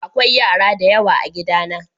akwai yara da yawa a gida na.